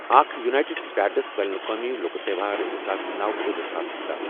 اکھ United States, بین الاقوٲمی لُکہٕ تہوار، زٕساس نوَ تہٕ زٕساس دہَ۔